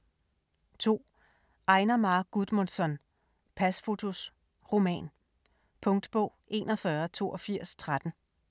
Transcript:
2. Einar Már Guðmundsson: Pasfotos: roman Punktbog 418213